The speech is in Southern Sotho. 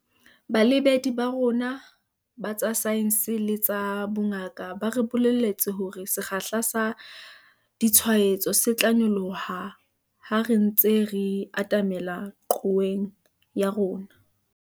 Baeletsi ba rona ba tsa saense le tsa bongaka ba re bolelletse hore sekgahla sa ditshwaetso se tla nyoloha ha re ntse re atamela qhoweng ya rona.